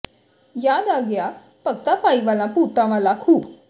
ਯਾਦ ਆ ਗਿਆ ਭਗਤਾ ਭਾਈ ਵਾਲਾ ਭੂਤਾਂ ਵਾਲਾ ਖੂਹ